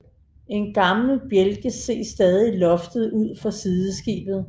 En gammel bjælke ses stadig i loftet ud for sideskibet